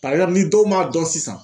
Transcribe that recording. ni dɔw m'a dɔn sisan